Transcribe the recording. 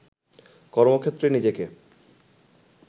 কর্মক্ষেত্রে নিজেকে